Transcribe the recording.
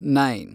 nine